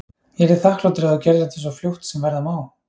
Ég yrði þakklátur ef þú gerðir þetta svo fljótt sem verða má.